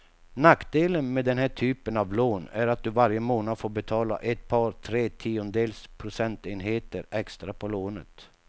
Nackdelen med den här typen av lån är att du varje månad får betala ett par, tre tiondels procentenheter extra på lånet.